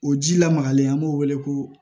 O ji lamagalen an b'o wele ko